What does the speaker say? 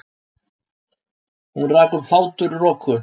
Hún rak upp hláturroku.